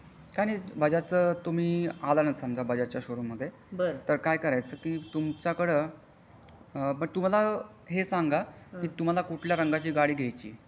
काही नाही बजाजचा तुम्ही आला ना समझ बजाजचा शोरूम मध तर काय करायचं की तुमच्याकडे पण तुम्हाला हे सांगा तुम्हाला कुठल्या रंगाची गाडी घ्यायची आहे.